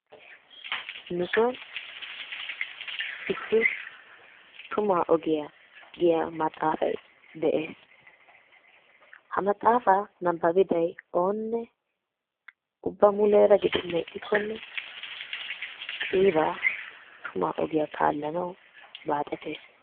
Nu sonni issi tumma ogiya giya maxaafay de'ees. Ha maxaafa nababiday onne ubba muleraa gidenan ixxikonne qiibaa tumma ogiya kalanawu baaxetes.